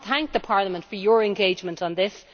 I want to thank Parliament for your engagement on this.